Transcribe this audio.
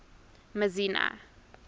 messina